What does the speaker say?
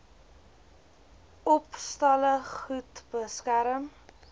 opstalle goed beskerm